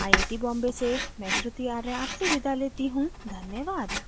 यह स्क्रिप्ट बिंदु पांडे द्वारा अनुवादित है आईआईटी बॉम्बे की ओर से मैं श्रुति आर्य अब आपसे विदा लेती हूँ धन्यवाद